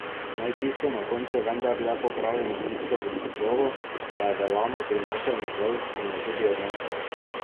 Naj čisto na koncu vendarle popravim tisto v naslovu, da je Velano prinesel miklavž in jo tudi odnesel.